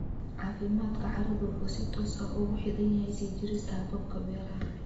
Caafimaadka carradu wuxuu si toos ah ugu xidhan yahay sii jirista hababka beeraha.